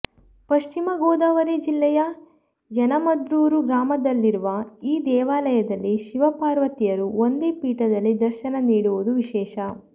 ಪಶ್ಚಿಮ ಗೋದಾವರಿ ಜಿಲ್ಲೆಯ ಯನಮದುರ್ರು ಗ್ರಾಮದಲ್ಲಿರುವ ಈ ದೇವಾಲಯದಲ್ಲಿ ಶಿವ ಪಾರ್ವತಿಯರು ಒಂದೇ ಪೀಠದಲ್ಲಿ ದರ್ಶನ ನೀಡುವುದು ವಿಶೇಷ